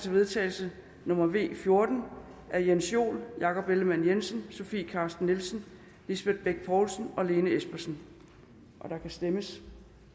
til vedtagelse nummer v fjorten af jens joel jakob ellemann jensen sofie carsten nielsen lisbeth bech poulsen og lene espersen der kan stemmes